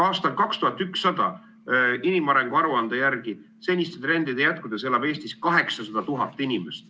Aastal 2100 elab inimarengu aruande järgi seniste trendide jätkudes Eestis 800 000 inimest.